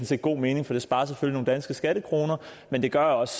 set god mening for det sparer selvfølgelig nogle danske skattekroner men det gør også